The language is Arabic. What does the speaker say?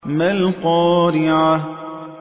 مَا الْقَارِعَةُ